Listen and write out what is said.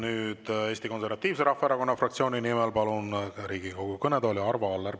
Nüüd palun Eesti Konservatiivse Rahvaerakonna fraktsiooni nimel Riigikogu kõnetooli Arvo Alleri.